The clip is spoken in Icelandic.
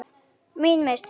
Mín mistök?